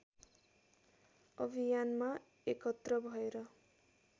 अभियानमा एकत्र भएर